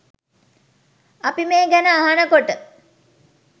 අපි මේ ගැන අහනකොට